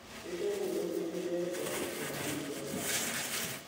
Keishoru ropiyiani pee ees ltung'ana biashara